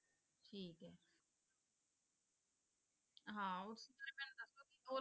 ਹਾਂ ਉਸ ਬਾਰੇ ਮੈਨੂੰ ਦੱਸੋ ਵੀ ਉਹ